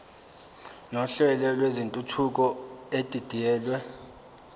nohlelo lwentuthuko edidiyelwe